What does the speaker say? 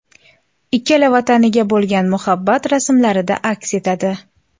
Ikkala vataniga bo‘lgan muhabbat rasmlarida aks etadi.